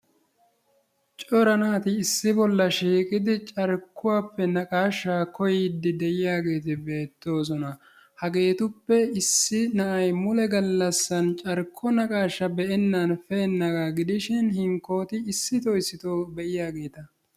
Cora naati issisaa shiiqqidi carkkuwaappe naqaashshaa koyyidi de'iyaageti beettoosona. Hageetuppe issi na'ay carkko naqashshaa be'enan pe'enaagaa gidishiin hinkkooti issitoo issitoo be'iyaageta.